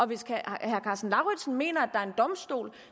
hvis herre karsten lauritzen mener at er en domstol